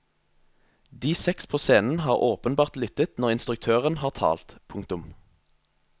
De seks på scenen har åpenbart lyttet når instruktøren har talt. punktum